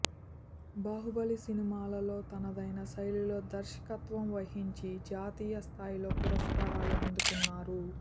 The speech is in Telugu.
బాహుబలి సినిమాలలో తనదైన శైలిలో దర్శకత్వం వహించి జాతీయ స్థాయిలో పురస్కారాలు అందుకున్నారు